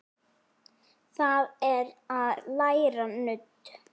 Það er að læra nudd.